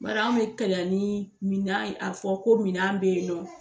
Bari an bɛ kɛlɛ ni minan ye a bɛ fɔ ko minan bɛ ye nɔ.